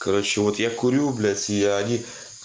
короче вот я курю блядь и они